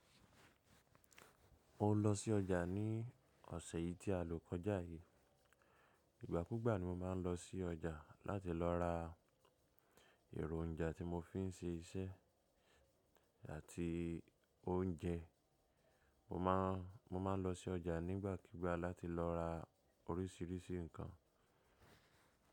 Mo ń lọ sí ọjà ní ọ̀sẹ̀ yìí tí a lọ kọjá yìí. Ìgbà kúgbà ni mo máa ń lọ sí ọjà láti lọ ra ẹ̀ròn ja tí mo fi ń ṣe iṣẹ́ àti oúnjẹ. Mo má, mo máa ń lọ sí ọjà nígbà kigbà láti lọ ra oríṣiríṣi nǹkan.